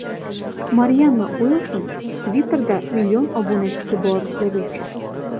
Marianna Uilyamson Twitter ’ da million obunachisi bor yozuvchi.